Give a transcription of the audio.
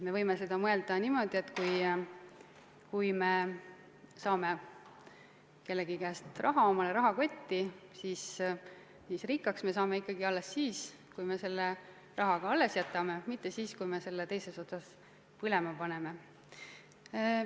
Me võime mõelda niimoodi, et kui me saame kellegi käest raha omale rahakotti, siis rikkaks me saame ikkagi alles siis, kui me selle raha ka alles jätame, mitte siis, kui me selle teisest otsast põlema paneme.